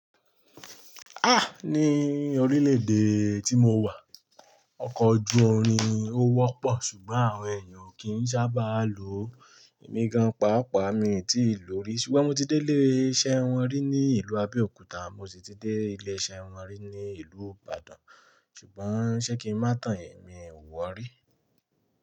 Ah! Ni orílè èdè tí mo wà ọkọ̀ ojú orin ò wọ́pọ̀ ṣùgbọ́n àwọn èèyàn ò kí ń sábà lo emí gan-an. Pàápàá mi ò tíì lò rí ṣùgbọ́n mo ti dé ilé-iṣẹ́ wọn rí ní ìlú Abẹ́òkúta, mo sì ti dé ilé-iṣẹ́ wọn rí ní ìlú Ìbàdàn ṣùgbọ́n ṣé kí n má tán ẹ̀mí ò wọ̀ rí?